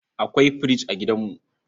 Akwai fridge a gidanmu.